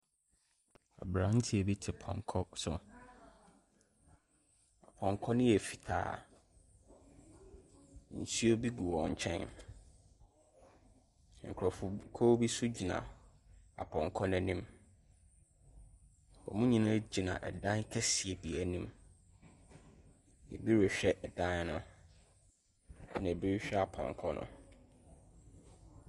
Aberanteɛ bi te pɔnkɔ so. Pɔnkɔ no yɛ fitaa. Nsuo bi gu wɔn nkyɛn. Nkurɔfo b . Kuo bi nsogyina apɔnkɔ no anim. Wɔn nyinaa gyina ɛdan kɛseɛ bi anim. Ɛbi rehwɛ ɛdan no. Ɛna ɛbi rehwɛ apɔnkɔ no.